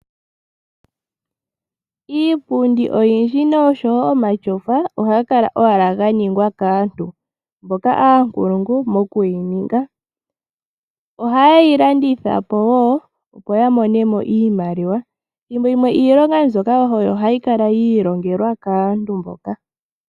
Iipundi oyindji noshowo omatyofa ohayi kala owala yaningwa kaantu, mboka yena uunkulungu mokuyininga. Ohaye yi landitha po wo, opo yamonemo iimaliwa. Thimbo limwe iilonga mbyoka oyo hayi kala yi ilongelwa kaantu mboka.